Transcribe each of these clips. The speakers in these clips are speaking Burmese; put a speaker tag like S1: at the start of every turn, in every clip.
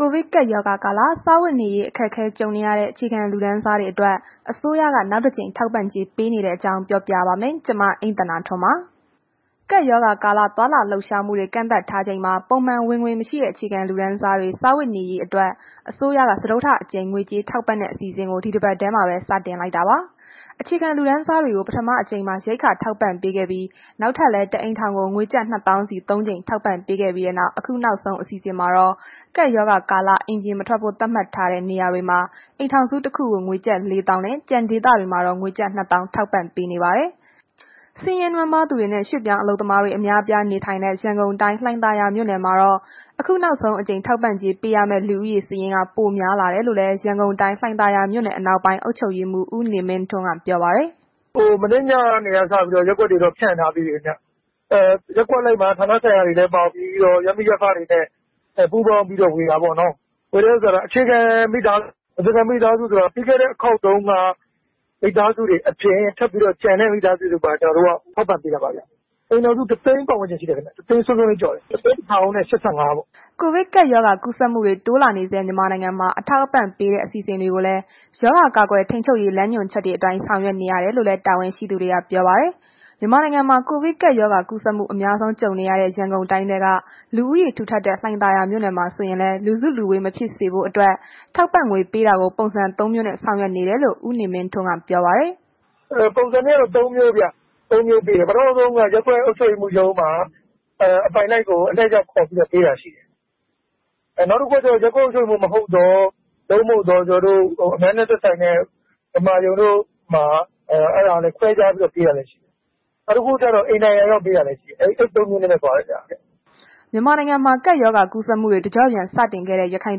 S1: ကိုဗစ်ကပ်ရောဂါကာလ စားဝတ်နေရေး အခက်အခဲ ကြုံနေရတဲ့ အခြေခံလူတန်းစားတွေအတွက် အစိုးရက နောက်တကြိမ် ထောက်ပံ့ကြေးပေးနေတဲ့အကြောင်း ပြောပြပါမယ်။ ဗွီအိုအေမြန်မာပိုင်း သတင်းထောက် မအိမ့်သန္တာထွန်းက သတင်းပေးပို့ထားပါတယ်။ ကပ်ရောဂါကာလ သွားလာလှုပ်ရှားမှုတွေ ကန့်သတ်ထားချိန်မှာ ပုံမှန်ဝင်ငွေမရှိတဲ့ အခြေခံလူတန်းစားတွေ စားဝတ်နေရေးအတွက် အစိုးရက စတုတ္ထအကြိမ် ငွေကြေးထောက်ပံ့တဲ့ အစီအစဉ်ကို ဒီတပတ်ထဲမှာပဲ စတင်လိုက်တာပါ။ အခြေခံလူတန်းစားတွေကို ပထမတကြိမ်မှာ ရိက္ခာထောက်ပံ့ပေးခဲ့ပြီး နောက်ထပ်လည်း တစ်အိမ်ထောင်ကို ငွေကျပ် ၂၀,၀၀၀ စီ ၃ ကြိမ်ထောက်ပံ့ပေးခဲ့ပြီးနောက် အခုနောက်ဆုံး အစီအစဉ်မှာတော့ ကပ်ရောဂါကာလ အိမ်ပြန်မထွက်ဖို့ သတ်မှတ်ထားတဲ့ နေရာတွေမှာ အိမ်ထောင်စုတစ်ခုကို ကျပ်ငွေ ၄၀,၀၀၀ ကျန်ဒေသတွေမှာတော့ ကျပ်ငွေ ၂၀,၀၀၀ ထောက်ပံ့ပေးနေပါတယ်။ ဆင်းရဲနွမ်းပါးသူတွေနဲ့ ရွှေ့ပြောင်းအလုပ်သမားတွေ အများအပြားနေထိုင်တဲ့ ရန်ကုန်တိုင်း လှိုင်သာယာမြို့နယ်မှာတော့ အခုနောက်ဆုံးအကြိမ် ထောက်ပံ့ကြေးပေးရမယ့် လူဦးရေစာရင်းက ပိုများလာတယ်လို့လည်း ရန်ကုန်တိုင်း လှိုင်သာယာမြို့နယ် အနောက်ပိုင်း အုပ်ချုပ်ရေးမှုး ဦးနေမင်းထွန်းက ပြောပါတယ်
S2: ။ “မနေ့ညကနေစပြီးတော့ ရပ်ကွက်တွေကတော့ ဖြန့်ထားပြီးပါပြီခင်ဗျ။ ရပ်ကွက်အလိုက်မှာ ဌာနဆိုင်ရာတွေလည်းပါဝင်ပြီးတော့ ရပ်မိရပ်ဖတွေနဲ့ ပူးပေါင်းပြီးတော့ ဝေတာပေါ့နော်။ ဝေတဲ့အခါတော့ အခြေခံမိသားစု၊ အခြေခံမိသားစုဆိုတာက ပြီးခဲ့တဲ့ အခေါက်တုန်းက မိသားစုတွေအပြင် ထပ်ပြီးတော့ ကျန်တဲ့ မိသားစုတွေကိုပါ ကျနော်တို့က ထောက်ပံ့ပေးတာပါဗျ။ အိမ်ထောင်စု ၁၀၀,၀၀၀ စွန်းစွန်းကျော်တယ်၊ ၁၀၁,၀၈၅ ပေါ့
S1: ။” ကိုဗစ်ကပ်ရောဂါ ကူးစက်မှုတွေ တိုးလာနေဆဲ မြန်မာနိုင်ငံမှာ အထောက်အပံ့ပေးတဲ့ အစီအစဉ်တွေကိုလည်း ရောဂါကာကွယ်ထိန်းချုပ်ရေး လမ်းညွှန်ချက်တွေအတိုင်း ဆောင်ရွက်နေရတယ်လို့လည်း တာဝန်ရှိသူတွေက ပြောပါတယ်။ မြန်မာနိုင်ငံမှာ ကိုဗစ်ကပ်ရောဂါ ကူးစက်မှု အများဆုံး ကြုံနေရတဲ့ ရန်ကုန်တိုင်းထဲက လူဦးရေထူထပ်တဲ့ လှိုင်သာယာမြို့နယ်မှာ ဆိုရင်လည်း လူစုလူဝေး မဖြစ်စေဖို့အတွက် ထောက်ပံ့ငွေပေးတာကို ပုံစံ ၃ မျိုးနဲ့ ဆောင်ရွက်နေတယ်လို့ ဦးနေမင်းထွန်းက ပြောပါတယ်
S2: ။ “ပုံစံကတော့ ၃ မျိုးဗျ။ ပထမဦးဆုံးကတော့ ရပ်ကွက်အုပ်ချုပ်ရေးမှူးရုံးမှာ အပိုင်လိုက်ကို အလှည့်ကျ ခေါ်ပြီးတော့ ပေးတာရှိတယ်။ နောက်တစ်ခုက ရပ်ကွက်အုပ်ချုပ်ရေးမှူး မဟုတ်သော အများနဲ့ သက်ဆိုင်တဲ့ ဓမ္မရုံတို့၊ ဘာတို့မှာ ခွဲပြီးတော့ ပေးတာလည်း ရှိပါတယ်။ နောက်တစ်ခုက အိမ်တိုင်ယာရောက်ပေးတာလည်း ရှိတယ်။ အဲ့ဒီ ၃ ခုနဲ့ ပေးနေတာပေါ့။”
S1: မြန်မာနိုင်ငံမှာ ကပ်ရောဂါကူးစက်မှုတွေ တကျော့ပြန် စတင်ခဲ့တဲ့ ရခိုင်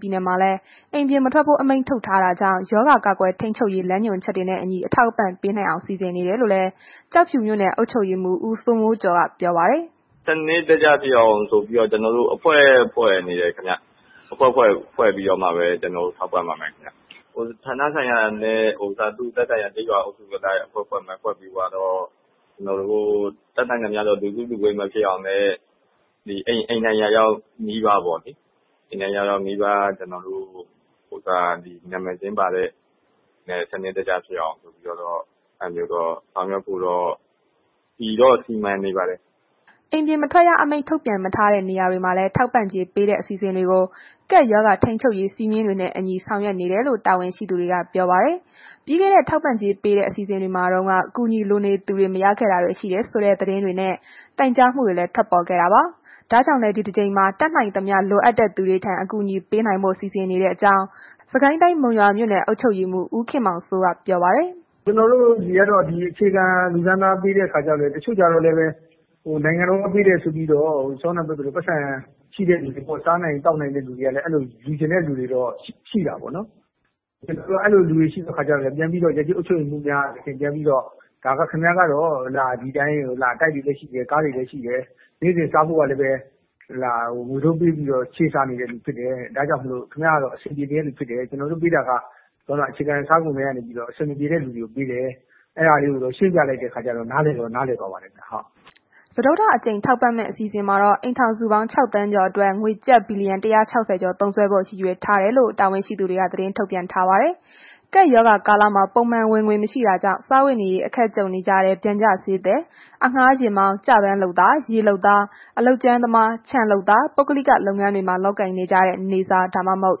S1: ပြည်နယ်မှာလည်း အိမ်ပြင်မထွက်ဖို့ အမိန့်ထုတ်ထားတာကြောင့် ရောဂါကာကွယ်ထိန်းချုပ်ရေး လမ်းညွှန်ချက်တွေနဲ့အညီ အထောက်အပံ့ပေးနိုင်အောင် စီစဉ်နေတယ်လို့လည်း ကျောက်ဖြူမြို့နယ်အုပ်ချုပ်ရေးမှူး ဦးစိုးမိုးကျော်က ပြောပါတယ်။
S3: “စနစ်တကျဖြစ်အောင်ဆိုပြီးတော့ ကျနော်တို့ အဖွဲ့ဖွဲ့နေတယ်ခင်ဗျ။ အဖွဲ့ဖွဲ့ပြီးတော့မှပဲ ကျနော်တို့ ထောက်ပံ့ပါမယ်ခင်ဗျ။ သူ့ဌာနဆိုင်ရာအလိုက် ကျေးရွာအုပ်စုအလိုက် အဖွဲ့ဖွဲ့မယ် ဖွဲ့ပြီးသွားတော့ ကျနော်တို့ တတ်နိုင်သမျှတော့ လူစုလူဝေးမဖြစ်အောင်နဲ့ အိမ်တိုင်ယာရောက် နီးပါးပေါ့လေ၊ အိမ်တိုင်ယာရောက် နီးပါး နာမည်စာရင်းပါတဲ့ သူတို့ဆီကို စနစ်တကျဖြစ်အောင်ဆိုပြီးတော့ ဆောင်ရွက်ဖို့တော့ စီမံနေပါတယ်။
S1: ” အိမ်ပြင်မထွက်ရအမိန့် ထုတ်ပြန်မထားတဲ့ နေရာတွေမှာလည်း ထောက်ပံ့ကြေးပေးတဲ့ အစီအစဉ်တွေကို ကပ်ရောဂါထိန်းချုပ်ရေး စည်းမျဉ်းတွေနဲ့အညီ ဆောင်ရွက်နေတယ်လို့ တာဝန်ရှိသူတွေက ပြောပါတယ်။ ပြီးခဲ့တဲ့ ထောက်ပံ့ကြေးပေးတဲ့ အစီအစဉ်တွေမှာတုန်းက အကူအညီလိုနေသူတွေ မရခဲ့တာတွေ ရှိခဲ့တယ်ဆိုတဲ့ သတင်းတွေနဲ့ တိုင်ကြားမှုတွေလည်း ထွက်ပေါ်ခဲ့တာပါ။ ဒါကြောင့်လည်း ဒီတကြိမ်မှာ တတ်နိုင်သမျှ လိုအပ်တဲ့လူတွေထံ အကူအညီပေးနိုင်ဖို့ စီစဉ်ထားတဲ့အကြောင်း စစ်ကိုင်းတိုင်း မုံရွာမြို့နယ် အုပ်ချုပ်ရေးမှူး ဦးခင်မောင်စိုးက ပြောပါတယ်။
S4: “ကျနော်တို့တွေက အခြေခံလူတန်းစားကိုပဲ ပေးတဲ့ခါကျတော့ တချို့ကျတော့လည်းပဲ နိုင်ငံတော်ကပေးတယ်ဆိုပြီးတော့ ပိုက်ဆံရှိတဲ့သူ၊ စားနိုင်သောက်နိုင်တဲ့သူတွေကလည်း အဲ့ဒီလို လိုချင်တဲ့သူတွေကလည်း ရှိတာပေါ့နော်။ အဲ့လိုလူတွေရှိတော့ ရပ်ကျေးအုပ်ချုပ်ရေးမှူးများက ပြန်ပြီးတော့ ဒါက ခင်ဗျားကတော့ တိုက်တွေလည်း ရှိတယ်၊ ကားတွေလည်း ရှိတယ်၊ နေ့စဉ်စားဖို့ကလည်းပဲ ငွေတိုးပေးပြီးတော့ ချေးစားနေတဲ့သူဖြစ်တယ်။ ဒါကြောင့် ခင်ဗျားကတော့ အဆင်ပြေနေတဲ့သူ ကျနော်တို့ ပေးတာက ဒီဘက်မှာ အခြေခံစားဖို့ လိုအပ်နေတဲ့သူတွေကိုပေးတယ်။ အဲ့ဒီလိုမျိုးလေး ရှင်းပြလိုက်တဲ့ခါကျတော့ နားလည်တဲ့သူကလည်း နားလည်သွားပါတယ်။”
S1: စတုတ္ထအကြိမ် ထောက်ပံ့မယ့် အစီအစဉ်မှာတော့ အိမ်ထောင်စုပေါင်း ၆,၀၀၀,၀၀၀ ကျော်အတွက် ကျပ်ငွေ ဘီလီယံ ၁၆၀ ကျော် သုံးစွဲဖို့ ရည်ရွယ်ထားကြောင်းလည်း တာဝန်ရှိသူတွေ သတင်းထုတ်ပြန်ထားပါတယ်။ ကပ်ရောဂါကာလမှာ ပုံမှန်ဝင်ငွေ မရှိတာကြောင့် စားဝတ်နေရေး အခက်ကြုံနေကြတဲ့ ပျံကျဈေးသည်၊ အငှားယာဉ်မောင်း၊ ကျပန်းလုပ်သား၊ ရေလုပ်သား၊ အလုပ်ကြမ်းသမား၊ ခြံလုပ်သား၊ ပုဂ္ဂလိက လုပ်ငန်းတွေမှာ လုပ်ကိုင်နေတဲ့ နေ့စား ဒါမှမဟုတ်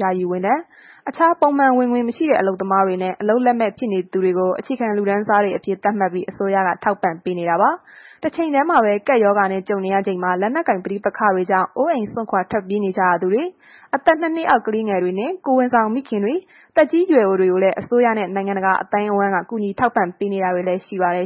S1: ယာယီဝန်ထမ်း၊ အခြားပုံမှန် ဝင်ငွေမရှိတဲ့ အလုပ်သမားတွေနဲ့ အလုပ်လက်မဲ့ ဖြစ်နေသူတွေကို အခြေခံလူတန်းစားတွေအဖြစ် သတ်မှတ်ပြီး အစိုးရက ထောက်ပံ့နေတာပါ။ တချိန်တည်းမှာပဲ ကပ်ရောဂါနဲ့ ကြုံရချိန်မှာ လက်နက်ကိုင် ပဋိပက္ခတွေကြောင့် အိုးအိမ်စွန့်ခွာပြေးနေကြရသူတွေ၊ အသက် ၂ နှစ်အောက် ကလေးငယ်တွေ၊ ကိုယ်ဝန်ဆောင်မိခင်တွေနှင့် သက်ကြီးရွယ်အိုတွေကိုလည်း အစိုးရနဲ့ နိုင်ငံတကာ အသိုင်းအဝန်းက ထောက်ပံ့ကူညီတာတွေလည်း ရှိပါတယ်